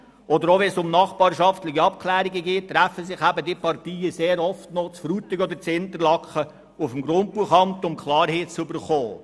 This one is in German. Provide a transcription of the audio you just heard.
Auch wenn es um nachbarschaftliche Abklärungen geht, treffen sich die Parteien sehr oft noch in Frutigen oder Interlaken auf dem Grundbuchamt, um Klarheit zu erhalten.